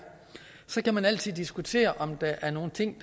så kan man altid diskutere om der er nogle ting